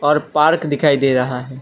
और पार्क दिखाई दे रहा है।